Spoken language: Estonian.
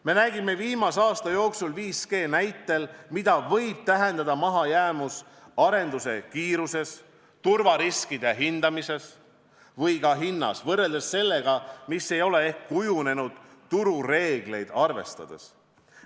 Me nägime viimase aasta jooksul 5G näitel, mida võib tähendada mahajäämus arenduse kiiruses, turvariskide hindamises või ka hinnas, võrreldes sellega, mis ei ole ehk kujunenud turureegleid arvestades.